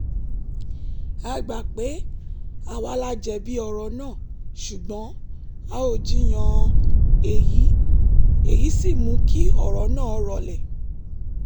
a gbà pé àwa la jẹ̀bi ọ̀rọ̀ náà ṣùgbọ́n a ò jinyàn èyí sì mú kí ọ̀rọ̀ náà rọlẹ̀